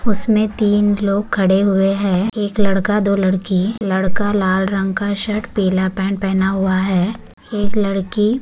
उसमें तीन लोग खड़े हुए हैं एक लड़का दो लड़की लड़का लाल रंग का शर्ट पीला पैंट पहना हुआ है एक लड़की --